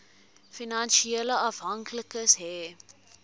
finansiële afhanklikes hê